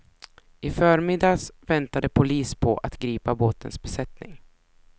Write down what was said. I förmiddags väntade polis på att gripa båtens besättning.